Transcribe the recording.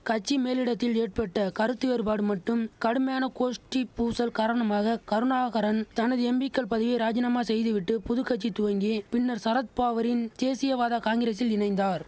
கட்சி மேலிடத்தில் ஏற்பட்ட கருத்து வேறுபாடு மட்டும் கடுமையான கோஷ்டிப் பூசல் காரணமாக கருணாகரன் தனது எம்பிக்கள் பதவியை ராஜினாமா செய்துவிட்டு புதுகட்சி துவங்கி பின்னர் சரத்பாவரின் தேசியவாத காங்கிரசில் இணைந்தார்